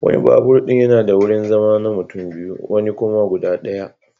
Wani babur din yana da wurin zama na mutum biyu wani kuma guda daya.